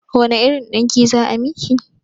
Wane irin ɗinki za a miki?